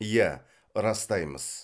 иә растаймыз